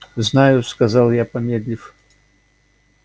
знаю сказал я помедлив